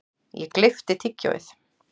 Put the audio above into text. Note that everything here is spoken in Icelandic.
Ég gleypti tyggjóið.